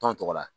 Tɔn tɔgɔ la